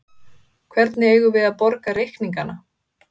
Hvernig eigum við að borga reikningana?